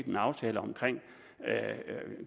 en aftale